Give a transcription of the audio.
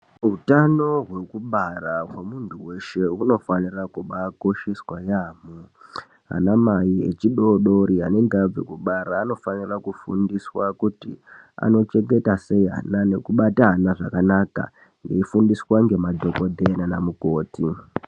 Utano hwekubara hwemuntu weshe hunofanira kubaakosheswa yaamho ana mai echidoddori anenge abve kubara anofanira kufundiswa kuti anochengeta sei ana nekubata ana zvakanaka eifundiswa ngemadhokodheya nana mukoti.